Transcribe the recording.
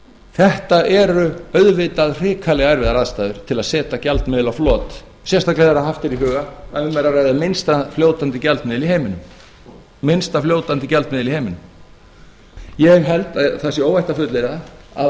þetta eru auðvitað hrikalega erfiðar aðstæður til að setja gjaldmiðil á flot sérstaklega ef haft er í huga að um er að ræða minnsta fljótandi gjaldmiðil í heiminum ég held að það sé óhætt að fullyrða að